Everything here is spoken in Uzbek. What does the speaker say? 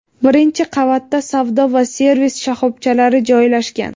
Birinchi qavatda savdo va servis shoxobchalari joylashgan.